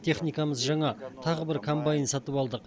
техникамыз жаңа тағы бір комбайн сатып алдық